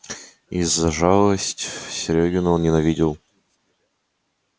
и за жалость серёгину он ненавидел